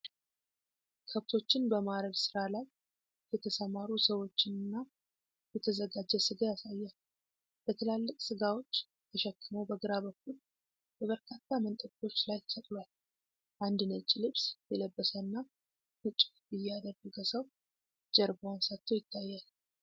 ከብቶችን በማረድ ሥራ ላይ የተሰማሩ ሰዎችንና የተዘጋጀ ስጋ ያሳያል። በትላልቅ ስጋዎች ተሸክሞ በግራ በኩል በበርካታ መንጠቆዎች ላይ ተሰቅሏል። አንድ ነጭ ልብስ የለበሰና ነጭ ኮፍያ ያደረገ ሰው ጀርባውን ሰጥቶ ይታያል።